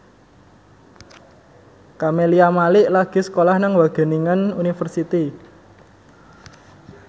Camelia Malik lagi sekolah nang Wageningen University